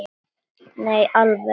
Nei, í alvöru.